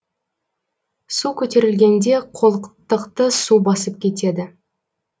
су көтерілгенде қолқтықты су басып кетеді